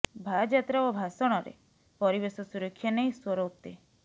ଭାଯାତ୍ରା ଓ ଭାଷଣରେ ପରିବେଶ ସୁରକ୍ଷା ନେଇ ସ୍ବର ଉତ୍ତେ